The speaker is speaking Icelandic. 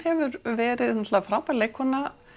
hefur verið er náttúrulega frábær leikkona